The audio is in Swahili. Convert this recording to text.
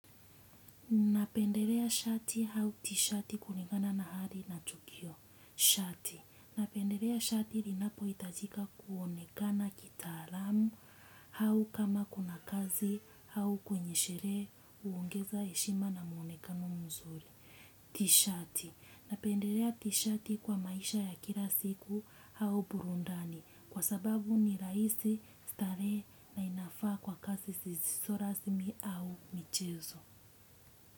Napendelea shati au tishati kulingana na hali na tukio. Shati; napendelea shati ninapohitajika kuonekana kitaalamu au kama kuna kazi au kwenye sherehe, kuongeza heshima na muonekano mzuri. Tishati; Napendelea tishati kwa maisha ya kila siku au burudani kwa sababu ni rahisi, starehe na inafaa kwa kazi zisizo rasmi au michezo.